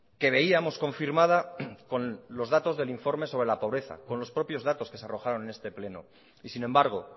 que veíamos confirmada con los datos del informe sobre la pobreza con los propios datos que se arrojaron en este pleno y sin embargo